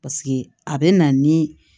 Paseke a bɛ na ni